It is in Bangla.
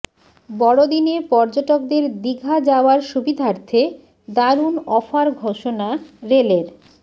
বড়দিনে পর্যটকদের দিঘা যাওয়ার সুবিধার্থে দারুণ অফার ঘোষণা রেলের